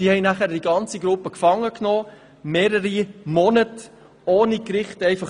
Die Polizei nahm dann die ganze Gruppe gefangen, mehrere Monate ohne Gerichtsurteil.